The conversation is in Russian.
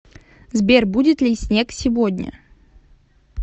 сбер будет ли снег сегодня